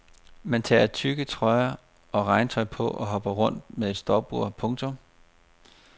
Man tager tykke trøjer og regntøj på og hopper rundt med et stopur. punktum